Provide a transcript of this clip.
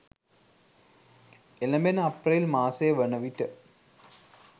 එළැඹෙන අප්‍රේල් මාසය වන විට